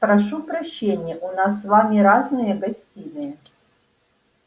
прошу прощения у нас с вами разные гостиные